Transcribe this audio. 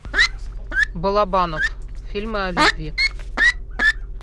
балабанов фильмы о любви